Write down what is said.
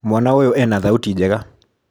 Mwana ũyũ ena thauti njega